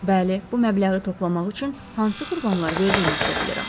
Bəli, bu məbləği toplamaq üçün hansı qurbanlar verdiyinizi də bilirəm.